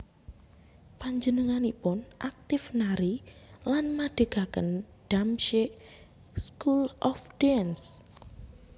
Panjenenganipun aktif nari lan madhegaken Damsyik School of Dance